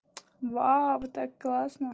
вау так классно